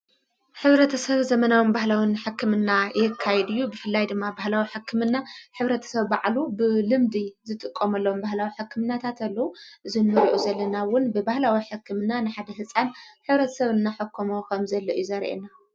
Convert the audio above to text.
ኅብረተ ሰብ ዘመናዊም ባህላዉን ሕክምና የካይድዩ ብፍላይ ድማ ባህላዊ ሕክምና ኅብረተ ሰብ በዕሉ ብልምዲ ዝጥቆመለም ባህላዊ ሕክምናታተሎ እዝኑርዑ ዘለናውን ብብህላዊ ሐክምና ንሓድ ሕፃን ኅብረት ሰብ እና ሕኮምዊ ኸም ዘለኡዩ ዘርየና::